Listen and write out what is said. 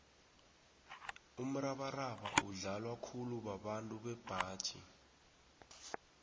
umrabaraba udlalwa khulu babantu bembaji